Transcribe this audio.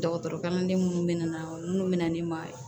Dɔgɔtɔrɔkalanden minnu bɛ na minnu bɛ na ne ma